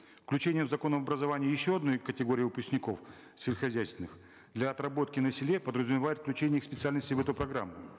включение в закон об образовании еще одной категории выпускников сельскохозяйственных для отработки на селе подразумевает включение их специальностей в эту программу